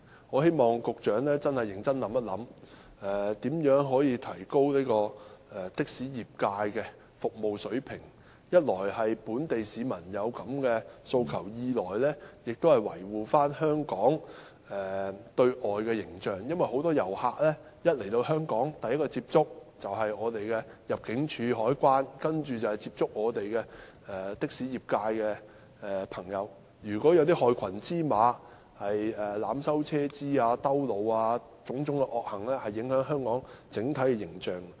我希望局長認真想一想如何提高的士業界的服務水平，一來是因為本地市民有此訴求，二來亦要維護香港的對外形象，因為很多遊客來到香港後，首先接觸的是入境事務處和海關人員，然後就是的士業界的朋友，如果有害群之馬濫收車資、繞路等，種種惡行會影響香港的整體形象。